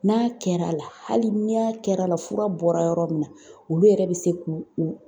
N'a kɛra la, hali ni y'a kɛra la ,fura bɔra yɔrɔ min na, olu yɛrɛ be se k'u u